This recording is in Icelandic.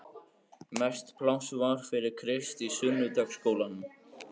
Mest pláss var fyrir Krist í sunnudagaskólanum.